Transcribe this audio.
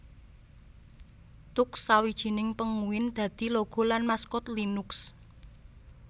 Tux sawijining Penguin dadi logo lan maskot Linux